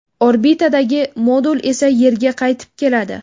Orbitadagi modul esa Yerga qaytib keladi.